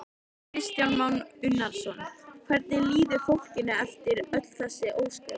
Kristján Már Unnarsson: Hvernig líður fólkinu eftir öll þessi ósköp?